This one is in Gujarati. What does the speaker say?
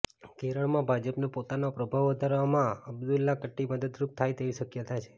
કેરળમાં ભાજપને પોતાનો પ્રભાવ વધારવામાં અબ્દુલ્લાકુટ્ટી મદદરૂપ થાય તેવી શક્યતા છે